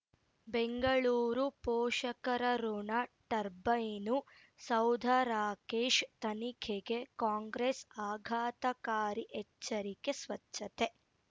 ಬೆಂಗಳೂರು ಪೋಷಕರಋಣ ಟರ್ಬೈನು ಸೌಧ ರಾಕೇಶ್ ತನಿಖೆಗೆ ಕಾಂಗ್ರೆಸ್ ಆಘಾತಕಾರಿ ಎಚ್ಚರಿಕೆ ಸ್ವಚ್ಛತೆ